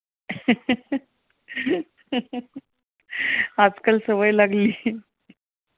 आज काल सवय लागली